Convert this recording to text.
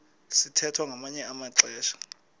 sithwethwa ngamanye amaxesha